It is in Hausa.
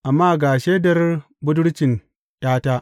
Amma ga shaidar budurcin ’yata.